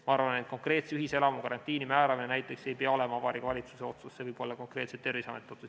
Ma arvan, et konkreetse ühiselamu karantiini määramine näiteks ei peaks olema Vabariigi Valitsuse otsus, see võiks olla konkreetselt Terviseameti otsus.